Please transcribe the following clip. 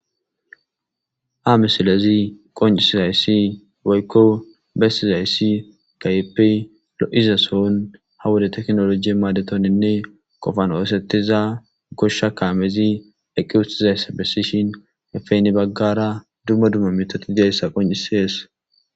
Ha misilezi qonccisizayssi woykko bessizayssi keehippe lo'iza sohon ha wode tekinoloje maadetoninne qofan oosetiza goshsha kaamezi eqqi uttidayssa bessishi hanippe heni baggara dumma dumma miththati diyayssa qonccisees.